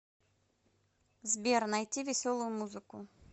сбер найти веселую музыку